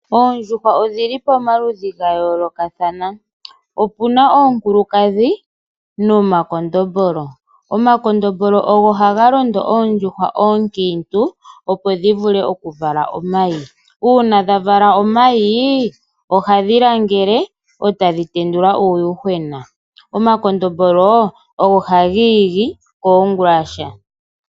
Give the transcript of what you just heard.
Oondjuhwa odhi li pamaludhi ga yoolokathana. Opuna oondjuhwa oonkiintu nomakondombolo. Omakondombolo ogo haga londo oondjuhwa oonkiintu opo dhi vule okuvala omayi. Uuna dha vala omayi ohadhi langele eta dhi ga tendula uuyuhwena.